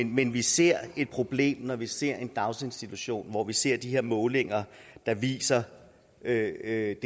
men vi ser et problem når vi ser en daginstitution hvor vi ser de her målinger der viser det her